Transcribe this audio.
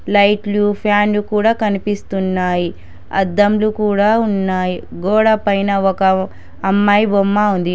లైట్లు ఫ్యాన్లు కూడా కనిపిస్తున్నాయి అద్దంలు కూడా ఉన్నాయి గోడ పైన ఒక అమ్మాయి బొమ్మ ఉంది.